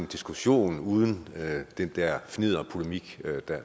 diskussionen uden den der fnidderpolemik